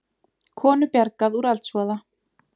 Konu bjargað úr eldsvoða